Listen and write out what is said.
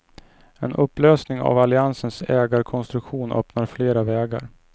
En upplösning av alliansens ägarkonstruktion öppnar flera vägar.